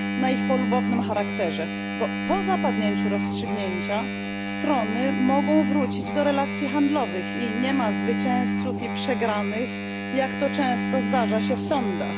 na ich polubownym charakterze, gdyż po zapadnięciu rozstrzygnięcia strony mogą wrócić do relacji handlowych i nie ma zwycięzców i przegranych, jak to często zdarza się w sądach.